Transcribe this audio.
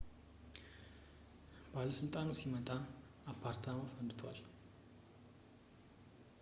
ባለሥልጣኑ ሲመጣ አፓርታማው ፈንድቷል